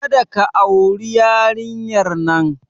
Kada ka auri yarinyar nan!